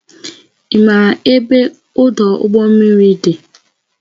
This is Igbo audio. Ị maara ebe ọdụ ụgbọ mmiri dị?